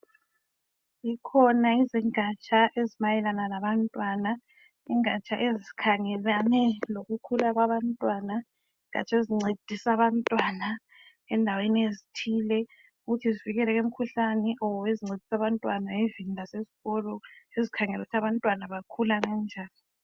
Zikhona izingatsha ezimayelana labantwana. Ingatsha ezikhangelane lokukhula kwabantwana izingatsha ezincedisa abantwana endaweni ezithile ukuthi zivikeleke kumkhuhlane kumbe ezincedisa abantwana lasezikolo ezikhangelane lokuthi abantwana bakhula benjani.